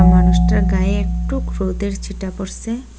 মানুষটার গায়ে একটুক রোদের ছিটা পড়সে।